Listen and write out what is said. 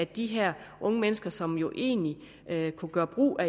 de her unge mennesker som jo egentlig kunne gøre brug af